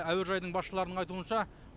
әуежайдың басшыларының айтуынша